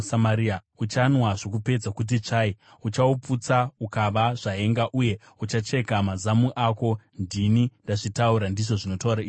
Uchanwa zvokupedza kuti tsvai; uchauputsa ukava zvaenga uye uchacheka mazamu ako. Ndini ndazvitaura, ndizvo zvinotaura Ishe Jehovha.